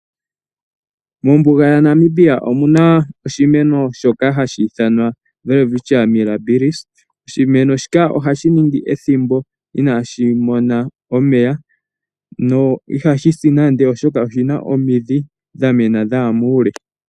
Mombuga ya Namibia omuna oshimeno shoka hashi ithanwa Welwitschia Mirabilis. Oshimeno shika ohashi ningi ethimbo inaashi mona omeya no ihashi si nande, oshoka oshina omidhi dhamena dhaya muule.